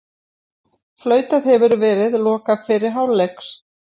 Flautað hefur verið loka fyrri hálfleiks